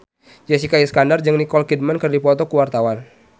Jessica Iskandar jeung Nicole Kidman keur dipoto ku wartawan